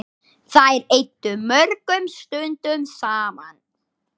Þær eyddu mörgum stundum saman.